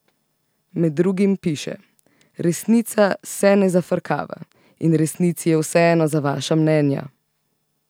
Med drugim piše: 'Resnica se ne zafrkava, in resnici je vseeno za vaša mnenja.